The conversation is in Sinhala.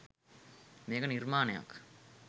මේක නිර්මාණයක්